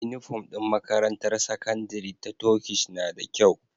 Inufom din makarantar sakandari ta Turkish nada kyau